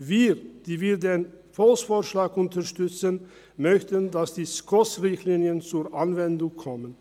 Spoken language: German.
Wir, die den Volksvorschlag unterstützen, möchten, dass die Richtlinien der Schweizerischen Konferenz für Sozialhilfe (SKOS) zur Anwendung kommen.